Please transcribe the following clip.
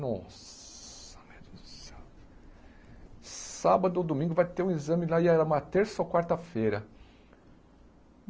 Nossa meu Deus do céu... Sábado ou domingo vai ter o exame lá, e era uma terça ou quarta-feira.